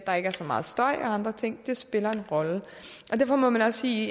så meget støj og andre ting det spiller en rolle derfor må man også sige